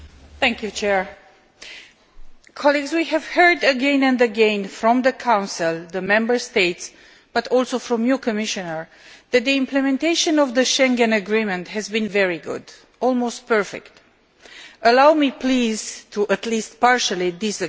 Mr President, we have heard again and again from the Council, from the Member States, but also from you, Commissioner, that the implementation of the Schengen Agreement has been very good, almost perfect. Allow me please to at least partially disagree.